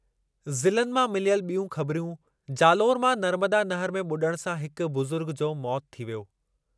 ज़िलनि मां मिलियल ॿियूं ख़बिरूं, जालौर मां नर्मदा नहर में ॿुॾण सां हिकु बुज़ुर्ग जो मौति थी वियो।